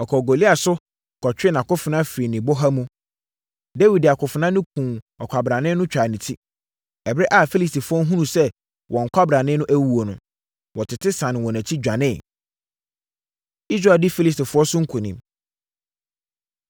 ɔkɔɔ Goliat so kɔtwee nʼakofena firii ne bɔha mu. Dawid de akofena no kumm ɔkwabrane no twaa ne ti. Ɛberɛ a Filistifoɔ hunuu sɛ wɔn kwabrane no awuo no, wɔtete sane wɔn akyi, dwaneeɛ. Israel Di Filistifoɔ So Nkonim